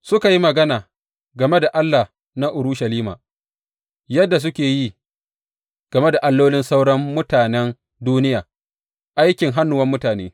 Suka yi magana game da Allah na Urushalima yadda suka yi game da allolin sauran mutanen duniya, aikin hannuwan mutane.